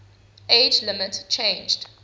age limit changed